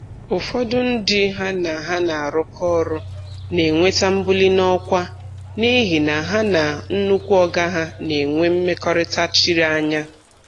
Ụfọdụ ndị ha na ha na-arụkọ ọrụ na-enweta mbuli n'ọkwa n'ihi na ha na "nnukwu oga ha" na-enwe mmekọrịta chiri anya.